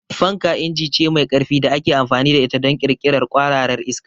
Fanka inji ce mai ƙarfi da ake amfani da ita don ƙirƙirar kwararar iska.